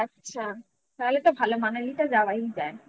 ও আচ্ছা তাহলে তো ভালোই Manali তে যাওয়াই যায়